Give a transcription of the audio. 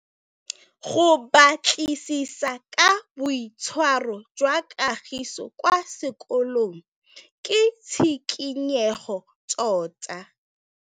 Go batlisisa ka boitshwaro jwa Kagiso kwa sekolong ke tshikinyêgô tota.